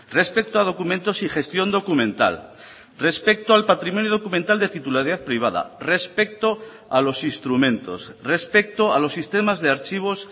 respecto a documentos y gestión documental respecto al patrimonio documental de titularidad privada respecto a los instrumentos respecto a los sistemas de archivos